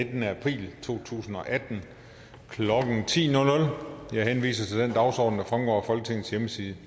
nittende april to tusind og atten klokken ti jeg henviser til den dagsorden der fremgår af folketingets hjemmeside